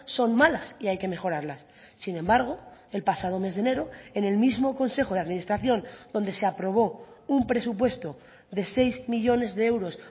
son malas y hay que mejorarlas sin embargo el pasado mes de enero en el mismo consejo de administración donde se aprobó un presupuesto de seis millónes de euros